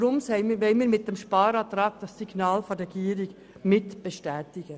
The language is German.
Deshalb wollen wir mit dem Sparantrag das Signal der Regierung bestätigen.